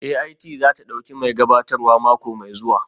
AIT za ta ɗauki mai gabatarwa mako mai zuwa